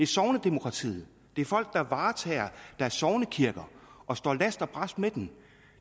sognedemokratiet det er folk der varetager deres sognekirker og står last og brast med dem